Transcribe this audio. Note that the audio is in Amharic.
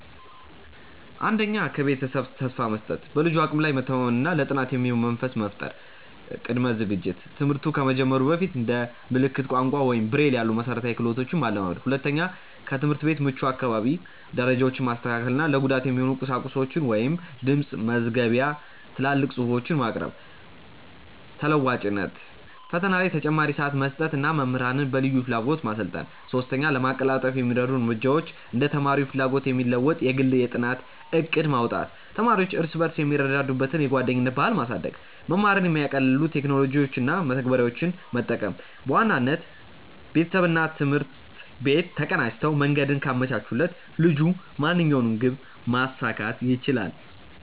1. ከቤተሰብ ተስፋ መስጠት፦ በልጁ አቅም ላይ መተማመን እና ለጥናት የሚሆን መንፈስ መፍጠር። ቅድመ ዝግጅት፦ ትምህርት ከመጀመሩ በፊት እንደ ምልክት ቋንቋ ወይም ብሬይል ያሉ መሠረታዊ ክህሎቶችን ማለማመድ። 2. ከትምህርት ቤት ምቹ አካባቢ፦ ደረጃዎችን ማስተካከል እና ለጉዳቱ የሚሆኑ ቁሳቁሶችን (ድምፅ መዝገቢያ፣ ትላልቅ ጽሁፎች) ማቅረብ። ተለዋዋጭነት፦ ፈተና ላይ ተጨማሪ ሰዓት መስጠት እና መምህራንን በልዩ ፍላጎት ማሰልጠን። 3. ለማቀላጠፍ የሚረዱ እርምጃዎች እንደ ተማሪው ፍላጎት የሚለወጥ የግል የጥናት ዕቅድ ማውጣት። ተማሪዎች እርስ በርስ የሚረዱዱበትን የጓደኝነት ባህል ማሳደግ። መማርን የሚያቀልሉ ቴክኖሎጂዎችን እና መተግበሪያዎችን መጠቀም። በዋናነት፣ ቤተሰብና ትምህርት ቤት ተቀናጅተው መንገዱን ካመቻቹለት ልጁ ማንኛውንም ግብ ማሳካት ይችላል።